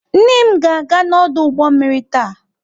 Nne m ga-aga n'ọdụ ụgbọ mmiri taa.